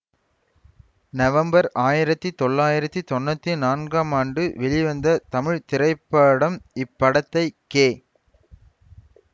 நம்மவர் ஆயிரத்தி தொள்ளாயிரத்தி தொன்னூத்தி நான்காம் ஆண்டு வெளிவந்த தமிழ் திரைப்படம் இப்படத்தை கே